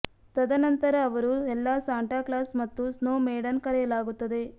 ತದನಂತರ ಅವರು ಎಲ್ಲಾ ಸಾಂಟಾ ಕ್ಲಾಸ್ ಮತ್ತು ಸ್ನೋ ಮೇಡನ್ ಕರೆಯಲಾಗುತ್ತದೆ